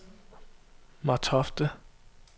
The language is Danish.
Martofte